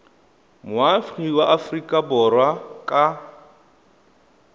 moagi wa aforika borwa ka